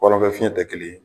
Ɔlɔn fɛ fiɲɛ te kelen ye